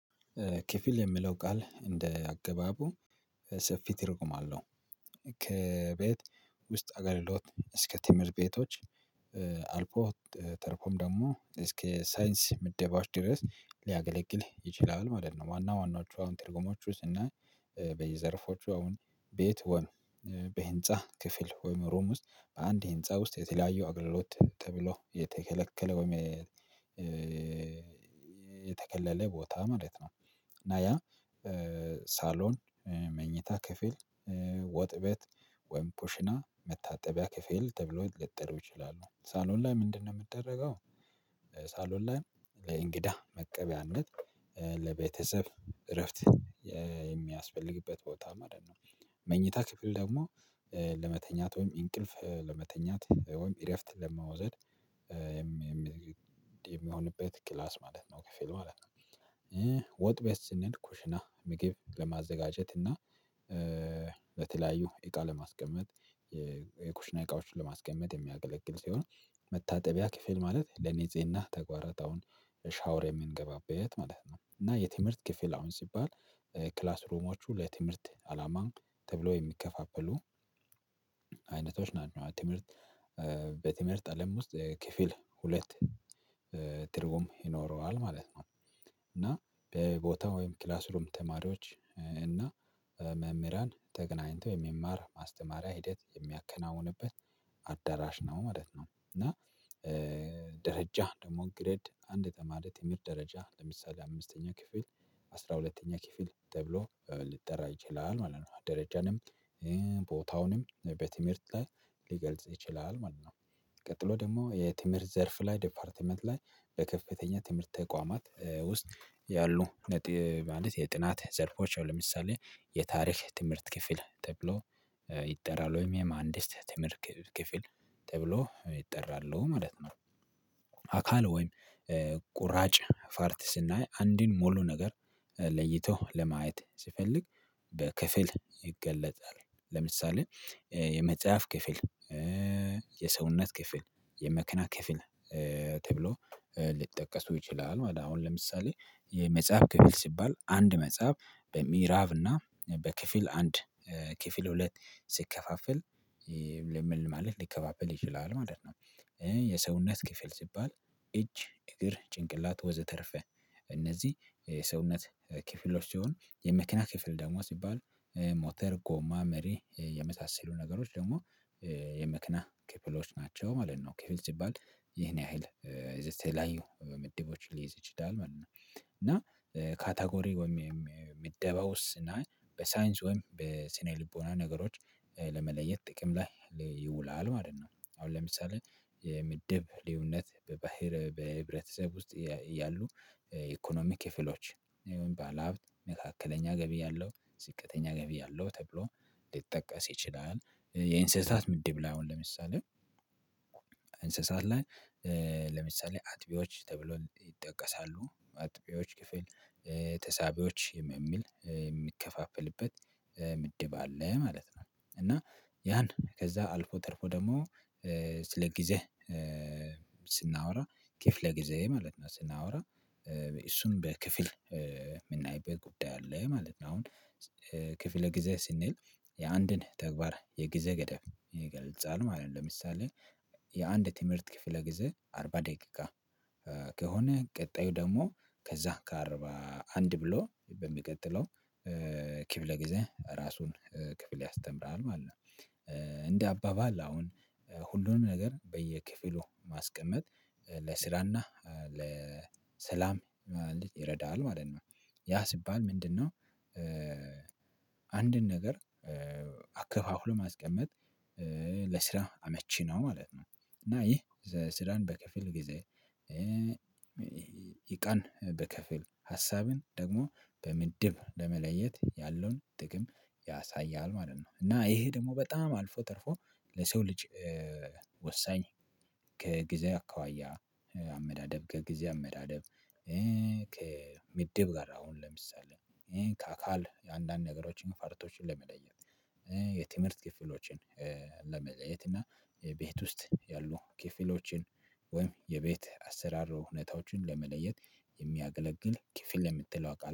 ክፍል የሚለው ቃል እንደ አገባቡ ሰፊ ትርጉም አለው። ከቤት ውስጥ አገልግሎት እስከ ትምህርት ቤቶች አልፎ ተርፎም ደግሞ እስከ ሳይንስ ምደባዎች ድረስ ሊያገለግል ይችላል ማለት ነው። ዋና ዋናዎቹ አሁን ትርጉሞች ውስጥ እና በየዘርፎቹ አሁን ቤት ወን በህንፃ ክፍል ወይም ሩም ውስጥ በአንድ ህንፃ ውስጥ የተለያየ አገልግሎት ተብሎ የተከለከለው የተከለለ ቦታ ማለት ነው። እና ያ ሳሎን መኝታ ክፍል ወጥ ቤት ወይም ኩሽና መታጠቢያ ከፍል ተብሎ ሊጠሩ ይችላሉ ሳሎን ላይ ምንድነው የሚደረገው? ሳሎን ላይ ለእንግዳ መቀበያነት ለቤተሰብ እረፍት የሚያስፈልግበት ቦታ ማለት ነው። መኝታ ክፍል ደግሞ ለመተኛት ወይም እንቅልፍ ለመተኛት ወይም ኢረፍት ለመውሰድ የሚሆንበት ክላስ ማለት ነው ክፍሉ ማለት ነው። ወጥ ቤት ስንሄድ ኩሽና ምግብ ለማዘጋጀት እና በተለያዩ እቃ ለማስቀመጥ የኩሽና እቃዎችን ለማስቀመጥ የሚያገለግል ሲሆን። መታጠቢያ ክፍል ማለት ለኔጽህና ተጓራታውን ሻውር የምንገባበት ማለት ነው። እና የትምህርት ክፍል አሁን ሲባል ክላስ ሩሞቹ ለትምህርት አላማ ተብሎ የሚከፋፈሉ አይነቶች ናቸው። ትምህርት በትምህርት አለም ውስጥ ክፍል ሁለት ትርጉም ይኖረዋል ማለት ነው። እና በቦታው ወይም ክላስ ሩም ተማሪዎች እና መምህራን ተገናኝተው የሚማር ማስተማሪያ ሂደት የሚያከናውንበት አዳራሽ ነው ማለት ነው። እና ደረጃ ደግሞ ግሬድ አንድ ተማሪ ትምህርት ደረጃ ለምሳሌ አምስተኛ ክፍል አስራ ሁለተኛ ክፍል ተብሎ ልትጠራ ይችላል ማለት ነው። ደረጃንም ቦታውንም በትምህርት ላይ ሊገልጽ ይችላል ማለት ነው። ቀጥሎ ደግሞ የትምህርት ዘርፍ ላይ ዲፓርትመንት ላይ በከፍተኛ ትምህርት ተቋማት ውስጥ ያሉ ነጥብ ማለት የጥናት ዘርፎች ለምሳሌ የታሪክ ትምህርት ክፍል ተብሎ ይጠራል ወይም የማህንዲስ ትምህርት ክፍል ተብሎ ይጠራሉ ማለት ነው። አካል ወይም ቁራጭ ፋርት ስናይ አንዱን ሙሉ ነገር ለይቶ ለማየት ሲፈልግ በክፍል ይገለጣል። ለምሳሌ የመጽሐፍ ክፍል የሰውነት ክፍል የመክና ክፍል ተብሎ ሊጠቀሱ ይችላሉ። አሁን ለምሳሌ የመጽሐፍ ክፍል ሲባል አንድ መጽሐፍ በሚራብና በክፍል አንድ ክፍል ሁለት ሲከፋፈል ለምን ማለት ሊከፋፈል ይችላል ማለት ነው። የሰውነት ክፍል ሲባል እጅ እግር ጭንቅላት ወዘተረፈ እነዚህ የሰውነት ክፍሎች ሲሆን የመኪና ክፍል ደግሞ ሲባል ሞተር ጎማ መሪ የመሳሰሉ ነገሮች ደግሞ የመኪና ክፍሎች ናቸው ማለት ነው። ክፍል ሲባል ይሄን ያህል የተለያዩ ምድቦች ሊይዝ ይችላል ማለት ነው። እና ካታጎሪ ወይም ምደባውስ እና በሳይንስ ወይም በስነ ልቦና ነገሮች ለመለየት ጥቅም ላይ ይውላል ማለት ነው። አሁን ለምሳሌ የምድብ ልዩነት በባህር በህብረተሰብ ውስጥ ያሉ ኢኮኖሚ ክፍሎች ይሄን ባለሀብት መካከለኛ ገቢ ያለው ዝቅተኛ ገቢ ያለው ተብሎ ሊጠቀስ ይችላል። የእንስሳት ምድብ ላይ አሁን ለምሳሌ እንስሳት ላይ ለምሳሌ አጥቢዎች ተብሎ ይጠቀሳሉ አጥቢዎች ክፍል ተሳቢዎች የሚል የሚከፋፈልበት ምድብ አለ ማለት ነው። እና ያን ከዛ አልፎ ተርፎ ደግሞ ስለ ጊዜ ስናወራ ክፍለ ጊዜ ማለት ነው ስናወራ እሱን በክፍል የምናይበት ጉዳይ አለ ማለት ነው። አሁን ክፍለ ጊዜ ስንል የአንድን ተግባር የጊዜ ገደብ ይገልጻል ማለት ነው። ለምሳሌ የአንድ ትምህርት ክፍለ ጊዜ አርባ ደቂቃ ከሆነ ቀጣዩ ደግሞ ከዛ ከአርባ አንድ ብሎ በሚቀጥለው ክፍል ጊዜ ራሱን ክፍል ያስተምረዋል ማለት ነው። እንደ አባባል አሁን ሁሉንም ነገር በየክፍሉ ማስቀመጥ ለስራና ለሰላም ማለት ይረዳል ማለት ነው። ያ ሲባል ምንድነው? አንድን ነገር አከፋፍሎ ማስቀመጥ ለስራ አመቺ ነው ማለት ነው። እና ይህ ስራን በከፍል ጊዜ እቃን በከፍል ሀሳብን ደግሞ በምድብ ለመለየት ያለውን ጥቅም ያሳያል ማለት ነው። እና ይሄ ደግሞ በጣም አልፎ ተርፎ ለሰው ልጅ ወሳኝ ከጊዜ አኳያ አመዳደብ ከጊዜ አመዳደብ ከሚድብ ጋር አሁን ለምሳሌ ከአካል የአንዳንድ ነገሮችን ፋርቶችን ለመለየት የትምህርት ክፍሎችን ለመለየት እና ቤት ውስጥ ያሉ ክፍሎችን ወይም የቤት አሰራር እውነታዎችን ለመለየት የሚያገለግል ክፍል ለምትለው ቃል